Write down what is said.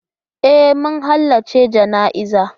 E, mun halarci jana'izar.